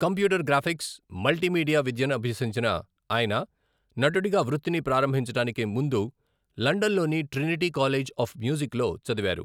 Computer graphics, multimedia విద్యనభ్యసించిన ఆయన నటుడిగా వృత్తిని ప్రారంభించడానికి ముందు లండన్లోని ట్రినిటీ కాలేజ్ ఆఫ్ మ్యూజిక్లో చదివారు.